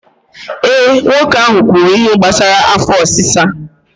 Eh, nwoke ahụ kwuru ihe gbasara afọ ọsịsa